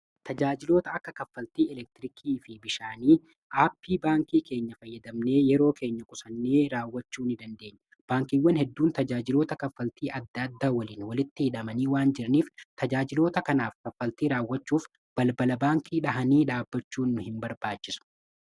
tajaajiloota akka kaffaltii elektirikii fi bishaanii aappii baankii keenya fayyadamnee yeroo keenya qusannee raawwachuu ni dandeenya. Baankiiwwan hedduun tajaajiloota kaffaltii adda addaa waliin walitti hidhamanii waan jiraniif tajaajiloota kanaaf kaffaltii raawwachuuf balbala-baankii dhahanii dhaabbachuu nu hin barbaachisu.